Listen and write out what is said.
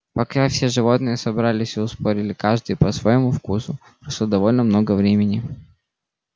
пока все животные собрались и устроились каждый по своему вкусу прошло довольно много времени